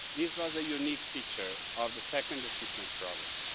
This was a unique feature of the second assistance programme.